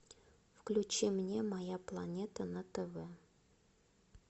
включи мне моя планета на тв